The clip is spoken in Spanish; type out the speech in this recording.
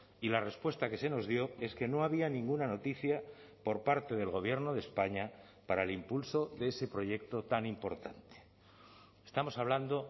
y la respuesta que se nos dio es que no había ninguna noticia por parte del gobierno de españa para el impulso de ese proyecto tan importante estamos hablando